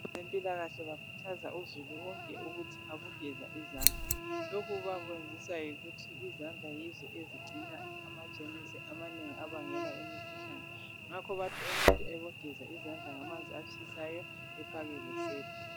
Abezempilakahle bakhuthaza uzulu wonke ukuthi abogeza izandla lokhu bakwenziswa yikuthi izandla yizo ezigcina ama jemusi amanengi abangela imkhuhlane, ngakho bathi umuntu abogeza izandla ngamanzi atshisayo efake lesepa.